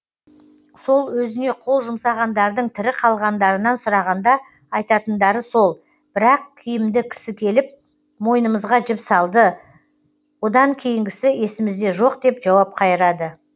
сол өзіне қол жұмсағандардың тірі қалғандарынан сұрағанда айтатындары сол бір ақ киімді кісі келіп мойынымызға жіп салды одан кейінгісі есімізде жоқ деп жауап қайырады